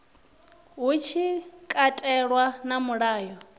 hu tshi katelwa na mulayo